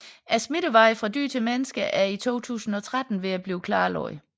Smittevejene fra dyr til mennesker er i 2013 ved at blive klarlagt